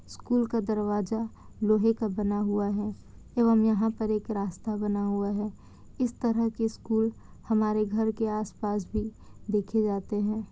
School का दरवाजा लोहे का बना हुआ है यहा एक रास्ता बना हुआ है। इस तरह के स्कूल हमारे घर के आस-पास भी देखे जाते है।